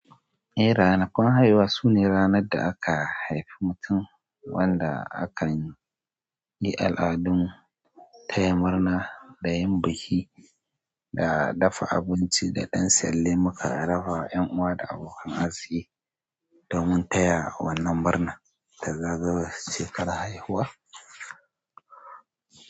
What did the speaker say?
Ranakun haihuwa, sune ranar da aka haifi mutum wanda hakan yi al'adun taya murna da yin biki, da dafa abinci da ɗan salle muka dafa wa 'yan uwa da abokan arziki, domin taya wannan murna ta zagayowar shekarar haihuwa.